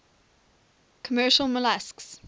commercial molluscs